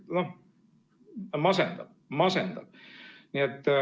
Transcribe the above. Noh, masendav, masendav.